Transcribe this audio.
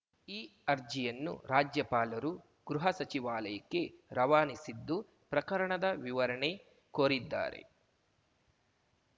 ಈ ಅರ್ಜಿಯನ್ನು ರಾಜ್ಯಪಾಲರು ಗೃಹ ಸಚಿವಾಲಯಕ್ಕೆ ರವಾನಿಸಿದ್ದು ಪ್ರಕರಣದ ವಿವರಣೆ ಕೋರಿದ್ದಾರೆ